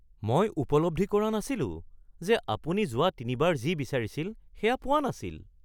মই উপলব্ধি কৰা নাছিলো যে আপুনি যোৱা তিনিবাৰ যি বিচাৰিছিল সেয়া পোৱা নাছিল।